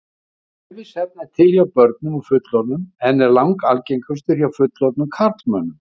Kæfisvefn er til hjá börnum og fullorðnum en er langalgengastur hjá fullorðnum karlmönnum.